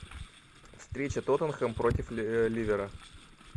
встреча тоттенхэм против ливера